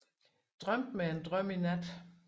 Drømte mig en drøm i nat